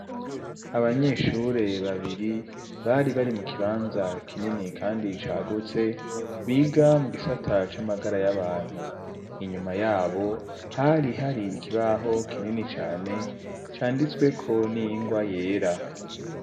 Abanyeshure babiri bari bari mu kibanza kinini kandi cagutse biga mu gisata c'amagara y'abantu inyuma yabo hari hari ikibaho kinini cane canditsweko n'iyingwa yera.